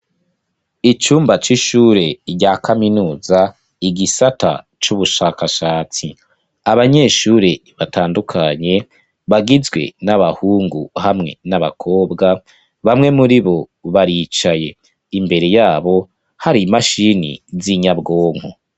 Icumba c'ishure rya kaminuza igisata c'ubushakashatsi, abanyeshure batandukanye bagizwe n'abahungu hamwe n'abakobwa, bamwe muri bo baricaye imbere yabo hari imashini z'inyabwonko.